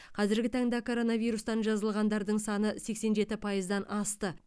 қазіргі таңда коронавирустан жазылғандардың саны сексен жеті пайыздан асты